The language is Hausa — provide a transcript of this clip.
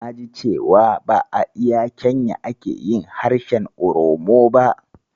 Naji cewa ba a iya Kenya ake harshen Oromo ba.